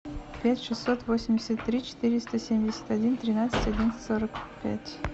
пять шестьсот восемьдесят три четыреста семьдесят один тринадцать одиннадцать сорок пять